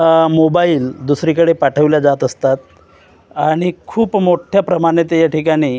mobile दुसरीकडे पाठवल्या जात असतात आणि खूप मोठ्या प्रमाणात या ठिकाणी--